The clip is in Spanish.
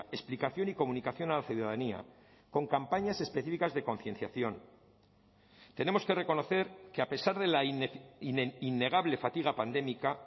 explicación y comunicación a la ciudadanía con campañas específicas de concienciación tenemos que reconocer que a pesar de la innegable fatiga pandémica